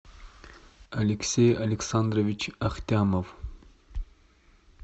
алексей александрович ахтямов